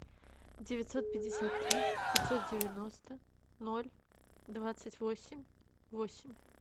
девятьсот пятьдесят три пятьсот девяносто ноль двадцать восемь восемь